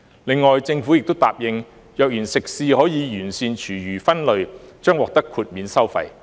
另外，政府亦答應，若然食肆可完善廚餘分類，將獲豁免收費。